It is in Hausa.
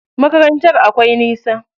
Makarantar akwai nisa.